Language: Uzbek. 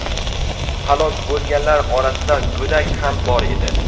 Halok bo‘lganlar orasida go‘dak ham bor edi.